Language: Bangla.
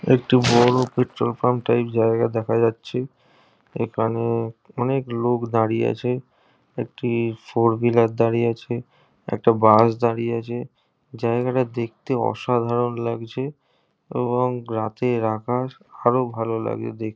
একটি বড়ো পেট্রল পাম্প টাইপ জায়গা দেখা যাচ্ছে এখানে অনেক লোক দাঁড়িয়ে আছে একটি ফোর হুইলার দাঁড়িয়ে আছে একটা বাস দাঁড়িয়ে আছে জায়গাটা দেখতে অসাধারণ লাগছে এবং রাতের আকাশ আরো ভালো লাগজে দেখ--